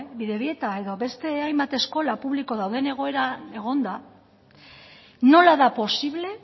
bidebieta edo beste hainbat eskola publiko dauden egoeran egonda nola da posible